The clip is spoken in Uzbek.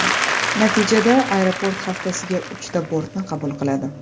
Natijada aeroport haftasiga uchta bortni qabul qiladi.